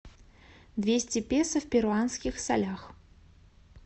двести песо в перуанских солях